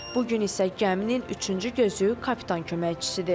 Bu gün isə gəminin üçüncü gözü kapitan köməkçisidir.